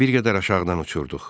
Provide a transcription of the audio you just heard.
Bir qədər aşağıdan uçurduq.